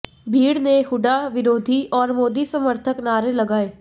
भीड़ ने हुड्डा विरोधी और मोदी समर्थक नारे लगाए